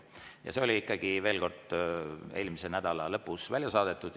Veel kord: see oli ikkagi eelmise nädala lõpus välja saadetud.